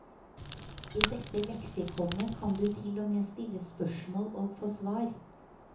I dette leksikonet kan du til og med stille spørsmål og få svar.